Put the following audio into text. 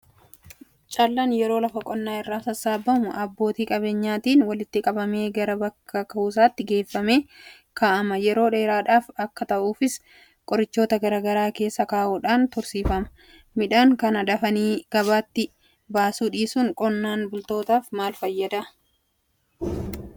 Callaan yeroo lafa qonnaa irraa sassaabamu abbootii qabeenyichaatiin walitti qabamee gara bakka kuusaatti geeffamee kaa'ama. Yeroo dheeraadhaaf akka taa'uufis qorichoota garaa garaa keessa kaa'uudhaan tursiifama. Midhaan kana dafanii gabaatti baasuu dhiisuun qonnaan bultoota maalfayyada?